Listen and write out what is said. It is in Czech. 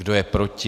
Kdo je proti?